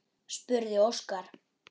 spurði Óskar.